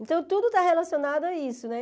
Então, tudo está relacionado a isso, né?